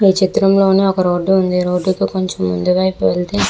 ఈ చిత్రం లో ఒక రోడ్ ఉంది. రోడ్ కి కొంచెం ముందూ వైపు వెళ్తే--